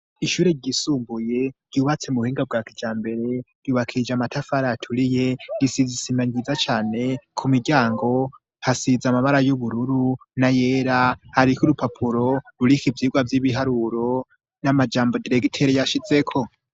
Ishure ryisumbuye ryubatse mu buhinga bwa kijambere ryubakije amatafari aturiye, risize isima nziza cane ku miryango hasize amabara y'ubururu n'ayera hariko urupapuro ruriko ivyigwa vy'ibiharuro n'amajambo diregiteri yashizeko.